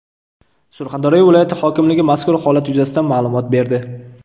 Surxondaryo viloyati hokimligi mazkur holat yuzasidan ma’lumot berdi .